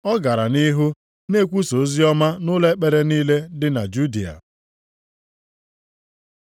Ọ gara nʼihu na-ekwusa oziọma nʼụlọ ekpere niile dị na Judịa.